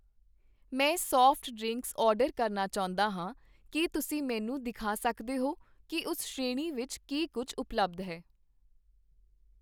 ਮੈਂ soft drinks order ਕਰਨਾ ਚਾਹੁੰਦਾ ਹਾਂ, ਕੀ ਤੁਸੀਂ ਮੈਨੂੰ ਦਿਖਾ ਸਕਦੇ ਹੋ ਕੀ ਉਸ ਸ਼੍ਰੇਣੀ ਵਿੱਚ ਕੀ ਕੁੱਝ ਉਪਲੱਬਧ ਹੈ?